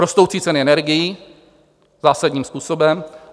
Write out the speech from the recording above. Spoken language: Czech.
Rostoucí ceny energií zásadním způsobem.